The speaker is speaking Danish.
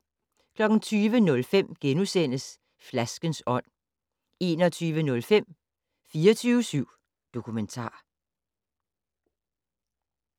20:05: Flaskens ånd * 21:05: 24syv Dokumentar